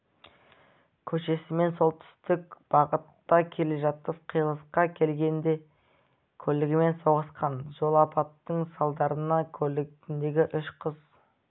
көшесімен солтүстік бағытта келе жатып қиылысқа келгенде көлігімен соғысқан жол апатының салдарынан көлігіндегі үш қыз